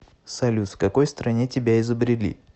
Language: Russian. салют в какой стране тебя изобрели